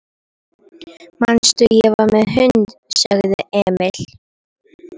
Manstu, ég var með hund, sagði Emil.